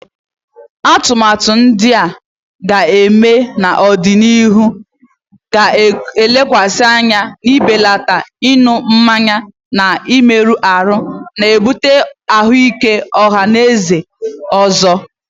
Atụmatụ ndị ga-eme n'ọdịnihu ga-elekwasị anya n'ibelata ịṅụ mmanya na-emerụ ahụ, na-ebute ahụike ọha na eze ụzọ.